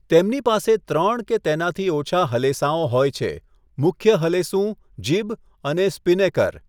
તેમની પાસે ત્રણ કે તેનાથી ઓછા હલેસાંઓ હોય છેઃ મુખ્ય હલેસું, જિબ અને સ્પિનેકર.